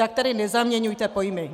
Tak tady nezaměňujte pojmy!